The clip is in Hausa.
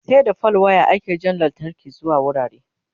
sai da fal wire ake Jan lantarki zuwa wurare